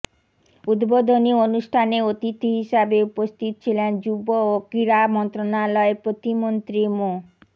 উদ্বোধনী অনুষ্ঠানে অতিথি হিসেবে উপস্থিত ছিলেন যুব ও ক্রীড়া মন্ত্রণালয়ের প্রতিমন্ত্রী মো